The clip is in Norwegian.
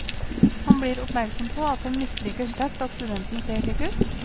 Han blir oppmerksom på at han misliker sterkt at studenten ser slik ut.